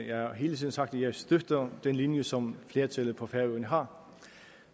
jeg har hele tiden sagt at jeg støtter den linje som flertallet på færøerne har